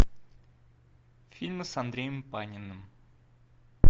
фильмы с андреем паниным